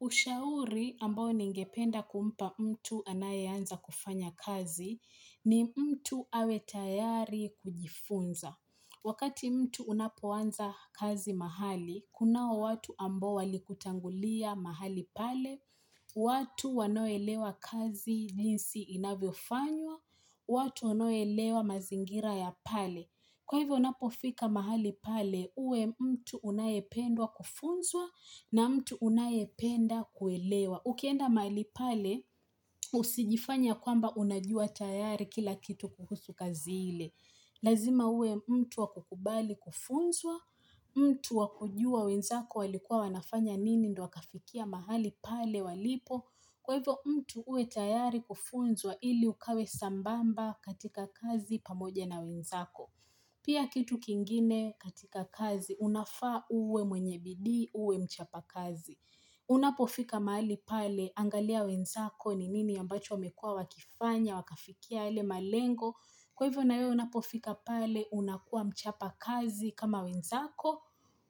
Ushauri ambao ningependa kumpa mtu anayeanza kufanya kazi ni mtu awe tayari kujifunza. Wakati mtu unapoanza kazi mahali, kunao watu ambao walikutangulia mahali pale, watu wanaoelewa kazi jinsi inavyofanywa, watu wanaoelewa mazingira ya pale. Kwa hivyo unapofika mahali pale uwe mtu unayependwa kufunzwa na mtu unayependa kuelewa. Ukienda mahali pale usijifanye kwamba unajua tayari kila kitu kuhusu kazi ile. Lazima uwe mtu wa kukubali kufunzwa, mtu wa kujua wenzako walikua wanafanya nini ndo wakafikia mahali pale walipo. Kwa hivyo mtu uwe tayari kufunzwa ili ukawe sambamba katika kazi pamoja na wenzako. Pia kitu kingine katika kazi, unafaa uwe mwenye bidii, uwe mchapa kazi. Unapofika mahali pale, angalia wenzako ni nini ambacho wamekua wakifanya, wakafikia yale malengo. Kwa hivyo nayo unapofika pale, unakua mchapa kazi kama wenzako.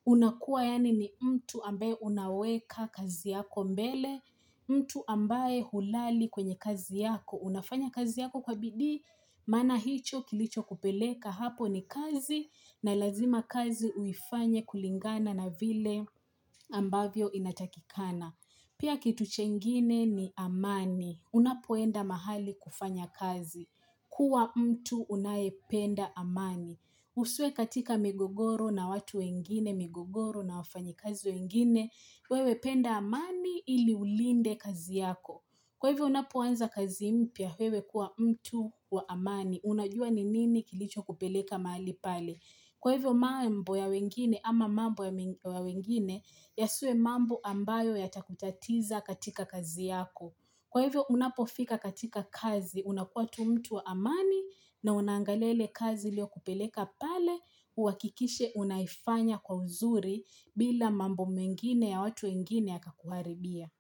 Unakua yaani ni mtu ambae unaweka kazi yako mbele, mtu ambae hulali kwenye kazi yako. Unafanya kazi yako kwa bidii maana hicho kilicho kupeleka hapo ni kazi na lazima kazi uifanye kulingana na vile ambavyo inatakikana. Pia kitu chengine ni amani. Unapoenda mahali kufanya kazi. Kuwa mtu unayependa amani. Usiwe katika migogoro na watu wengine, migogoro na wafanyi kazi wengine. Wewe penda amani ili ulinde kazi yako. Kwa hivyo unapoanza kazi mpya wewe kuwa mtu wa amani, unajua ni nini kilicho kupeleka mahali pale. Kwa hivyo mambo ya wengine ama mambo ya wengine yasiwe mambo ambayo yatakutatiza katika kazi yako. Kwa hivyo unapofika katika kazi unakuwa tu mtu wa amani na una angalia ile kazi ilio kupeleka pale uhakikishe unaifanya kwa uzuri bila mambo mengine ya watu wengine yakakuharibia.